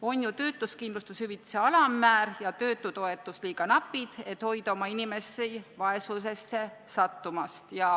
On ju töötuskindlustuse hüvitise alammäär ja töötutoetus liiga napid, et hoida oma inimesi vaesusesse sattumast.